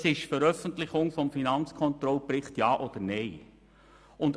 Das betraf die Frage, ob man den Finanzkontrollbericht veröffentlichen soll oder nicht.